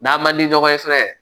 N'an man di ɲɔgɔn ye fɛnɛ